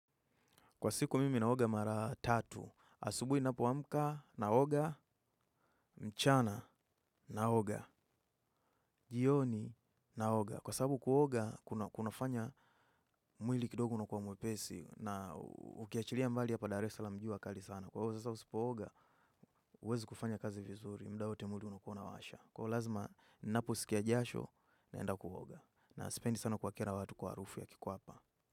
Kwa siku mimi naoga mara tatu. Asubui napoamka naoga, mchana naoga. Jioni naoga. Kwa sababu kuoga, kunafanya mwili kidogo una kuwa mwepesi. Na ukiachilia mbali hapa dar esalam jua kali sana. Kwa ivo sasa usipooga, uwezi kufanya kazi vizuri. Muda wote mwili unakuwa unawasha. Kwa lazima, naposikia jasho naenda kuoga. Na sipendi sana kuwa kera watu kwa harufu ya kikuapa.